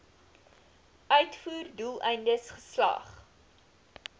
uitvoer doeleindes geslag